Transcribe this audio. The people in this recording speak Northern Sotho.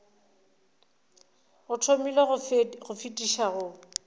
o thabile go fetiša go